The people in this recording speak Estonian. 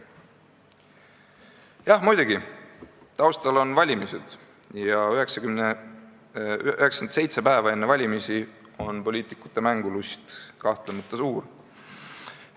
" Jah, muidugi, taustal on valimised ja 97 päeva enne valimisi on poliitikute mängulust kahtlemata suur.